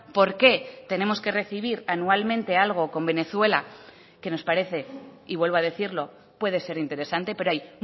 por qué tenemos que recibir anualmente algo con venezuela que nos parece y vuelvo a decirlo puede ser interesante pero hay